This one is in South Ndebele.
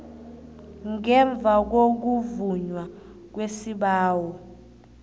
ngemva kokuvunywa kwesibawo